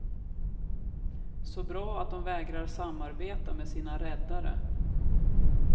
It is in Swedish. Så bra att de vägrar samarbeta med sina räddare.